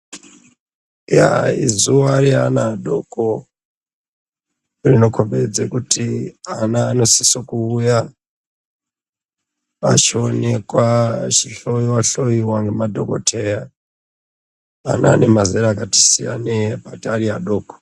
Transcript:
Yaa izuva reana adoko rinokhombidze kuti ana anosise kuuya achionekwa achihloyiwa-hloyiwa ngemadhogodheya vanemazera akatisiyanei bhati ariadoko.